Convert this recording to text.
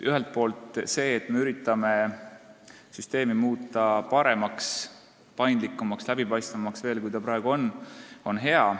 Ühelt poolt on see hea, et me üritame süsteemi muuta paremaks, paindlikumaks ja läbipaistvamaks, kui see praegu on.